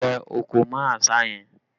Lẹ̀ òkò mọ́ àṣá yẹn!